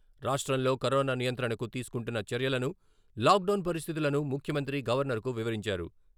రాష్ట్రంలో కరోనా నియంత్రణకు తీసుకుంటున్న చర్యలను, లాక్ డౌన్ పరిస్థితులను ముఖ్యమంత్రి గవర్నర్కు వివరించారు.